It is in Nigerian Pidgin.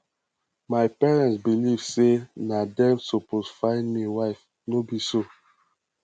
my parents believe sey na dem suppose find me wife no be so